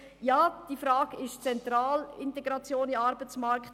Ja, diese Frage ist zentral – Integration in den Arbeitsmarkt.